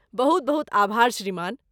बहुत बहुत आभार श्रीमान!